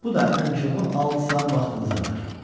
Bu da ən çoxu altı saat vaxtımızı alır.